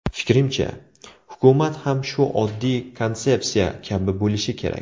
Fikrimcha, hukumat ham shu oddiy konsepsiya kabi bo‘lishi kerak.